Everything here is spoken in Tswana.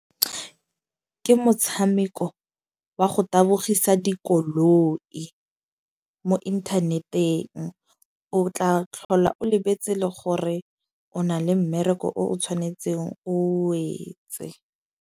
Ke motshameko wa go tabogisa dikoloi mo inthaneteng, o tla tlhola o lebetse le gore o na le mmereko o o tshwanetseng o etse.